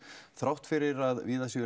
þrátt fyrir að